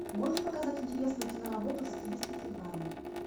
можешь показать интересную киноработу в стилистике драмы